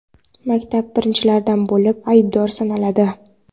maktab birinchilardan bo‘lib aybdor sanaladi.